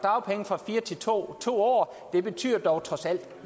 fire til to to år det betyder dog trods alt